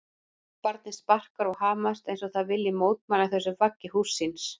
Barnið sparkar og hamast eins og það vilji mótmæla þessu vaggi húss síns.